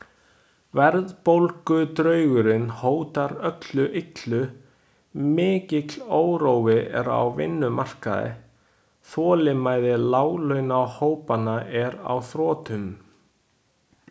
Verðbólgudraugurinn hótar öllu illu, mikill órói er á vinnumarkaði, þolinmæði láglaunahópanna er á þrotum.